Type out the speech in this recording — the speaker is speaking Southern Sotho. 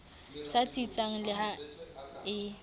sa tsitsang le ha e